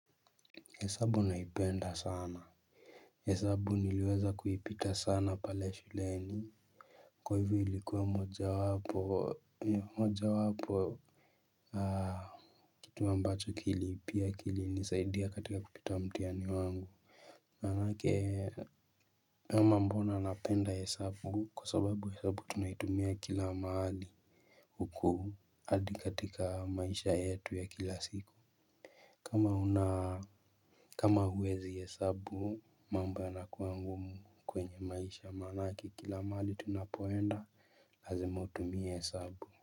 Hesabu naipenda sana hesabu niliweza kuipita sana pale shuleni. Kwa hivo ilikuwa moja wapo. Kitu ambacho kili pia kilinisaidia katika kupita mtiani wangu manake ama mbona napenda hesabu kwa sababu hesabu tunaitumia kila mahali huku hadi katika maisha yetu ya kila siku kama una kama uwezi hesabu mambo yanakua ngumu kwenye maisha manake kila mahali tunapoenda lazima utumie hesabu.